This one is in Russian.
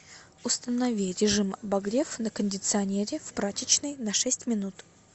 установи режим обогрев на кондиционере в прачечной на шесть минут